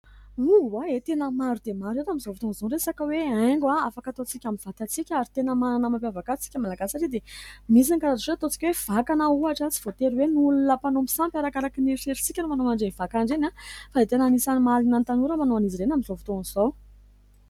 hoa e tena maro dia maro eto amin'izao fotoan'izao resaka hoe haingo aho afaka hatontsika amin'ny vatatsika ary tena manana mampiavakaysika malagay satria dia misy ny karato so ataotsoka e vakana hohatra sy voatery hoe no olona mpanao mi sampy araka araka nieferisika no manao andrey vakaindreny aho fa etena nisany mahalina ny tanora manao an'izy irena amin'izao votoan'izao